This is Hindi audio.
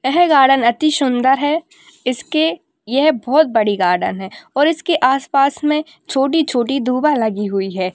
यह गार्डन अति सुंदर है इसके ये बहुत बड़ी गार्डन है और इसके आसपास मे छोटी-छोटी दुभा लगी हुई है।